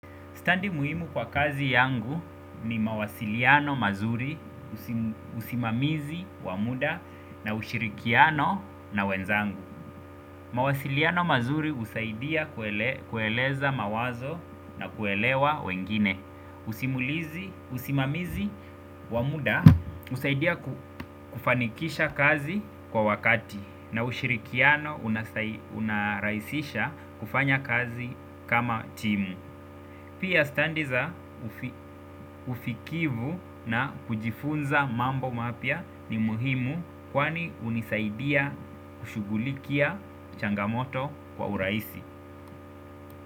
Stadi muhimu kwa kazi yangu ni mawasiliano mazuri, usimamizi, wa muda, na ushirikiano na wenzangu. Mawasiliano mazuri husaidia kueleza mawazo na kuelewa wengine usimulizi usimamizi wa muda husaidia kufanikisha kazi kwa wakati na ushirikiano unasaidia unarahisisha kufanya kazi kama timu. Pia stadi za usikivu na kujifunza mambo mapya ni muhimu kwani hunisaidia kushughulikia changamoto kwa urahisi.